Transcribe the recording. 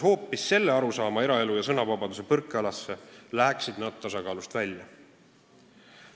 Kui võtaksime eraelu ja sõnavabaduse põrkealasse hoopis selle arusaama, läheksid need tasakaalust välja.